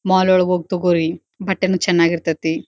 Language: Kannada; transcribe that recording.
ಮಾಲ್ ಒಳಗ್ ಹೋಗಿ ತೋಕೋರಿ ಬಟ್ಟೇನು ಚನ್ನಾಗಿ ಇರತ್ತತಿ.